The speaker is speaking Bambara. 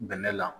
Bɛnɛ la